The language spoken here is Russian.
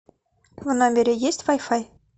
в номере есть вай фай